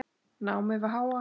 námi við HA.